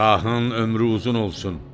Şahın ömrü uzun olsun.